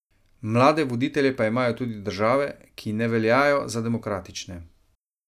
Mlade voditelje pa imajo tudi države, kine veljajo za demokratične.